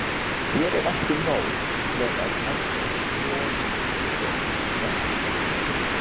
Hér er ekki nóg með að endingin- on sé á sínum stað.